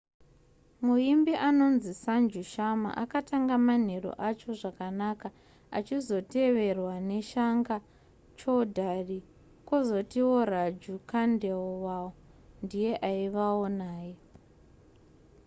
muimbi anonzi sanju sharma akatanga manheru acho zvakanaka achizoteverwa nashankar choudhary kwozotiwo raju khandelwal ndiye aivawo naye